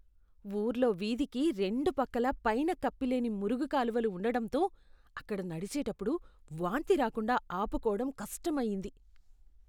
ఊర్లో వీధికి రెండు పక్కలా పైన కప్పిలేని మురుగుకాలువలు ఉండడంతో, అక్కడ నడిచేటప్పుడు వాంతి రాకుండా ఆపుకోవడం కష్టమయ్యింది.